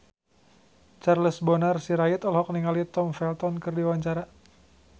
Charles Bonar Sirait olohok ningali Tom Felton keur diwawancara